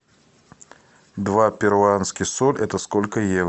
два перуанских соль это сколько евро